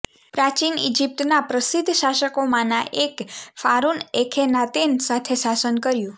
પ્રાચીન ઇજિપ્તના પ્રસિદ્ધ શાસકોમાંના એકે ફારુન અખેનાતેન સાથે શાસન કર્યું